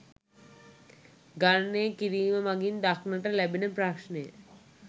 ගණනය කිරීම මගින් දක්නට ලැබෙන ප්‍රශ්නය